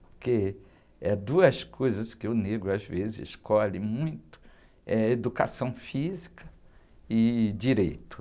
Porque é duas coisas que o negro às vezes escolhe muito, é educação física e direito.